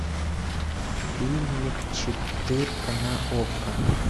фильмик четырка на окко